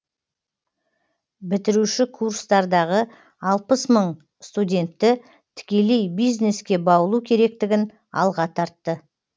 бітіруші курстардағы алпыс мың студентті тікелей бизнеске баулу керектігін алға тартты